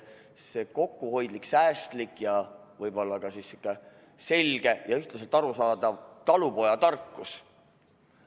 See on kokkuhoidlik, säästlik ja võib-olla siis ka selge ja ühtmoodi arusaadav talupojatarkus.